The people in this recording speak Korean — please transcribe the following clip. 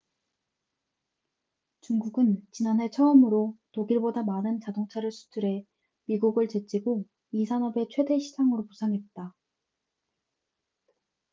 중국은 지난해 처음으로 독일보다 많은 자동차를 수출해 미국을 제치고 이 산업의 최대 시장으로 부상했다